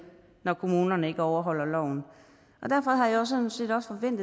når kommunerne ikke overholder loven derfor har jeg sådan set også en